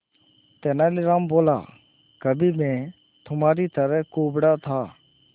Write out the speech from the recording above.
तेनालीराम बोला कभी मैं भी तुम्हारी तरह कुबड़ा था